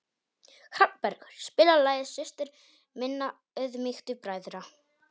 Hrafnbergur, spilaðu lagið „Systir minna auðmýktu bræðra“.